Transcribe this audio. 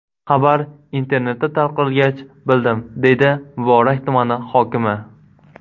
Xabar internetda tarqalgach, bildim”, deydi Muborak tumani hokimi.